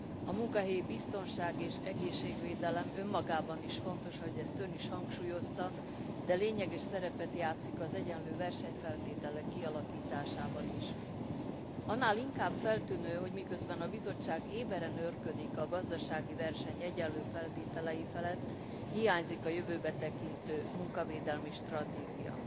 A munkahelyi biztonság és egészségvédelem önmagában is fontos, ahogy ezt Ön is hangsúlyozta, de lényeges szerepet játszik az egyenlő versenyfeltételek kialakításában is. Annál inkább feltűnő, hogy miközben a Bizottság éberen őrködik a gazdasági verseny egyenlő feltételei felett, hiányzik a jövőbe tekintő munkavédelmi stratégia.